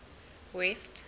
west